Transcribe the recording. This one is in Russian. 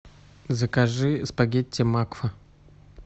закажи спагетти макфа